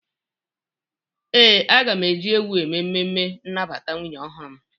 Ee, aga m eji ewu eme emume nnabata nwunye ọhụrụ m.